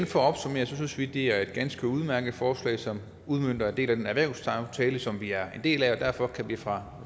for at opsummere synes vi at det er et ganske udmærket forslag som udmønter en del af den erhvervsaftale som vi er en del af og derfor kan vi fra